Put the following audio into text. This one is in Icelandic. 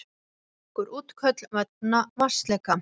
Nokkur útköll vegna vatnsleka